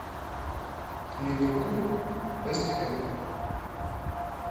ливерпуль вест хэм